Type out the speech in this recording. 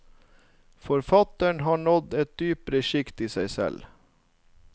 Forfatteren har nådd et dypere skikt i seg selv.